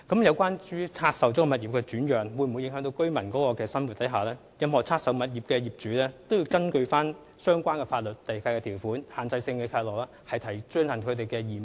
有關拆售物業的轉讓會否影響居民的生活，任何拆售物業的業主均須根據相關地契條款及限制性契諾履行其義務。